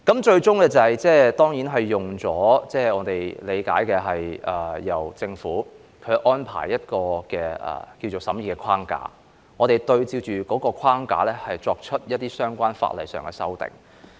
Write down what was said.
最終，據我理解，政府安排了一個所謂審議框架，按照框架作出相關法例修訂。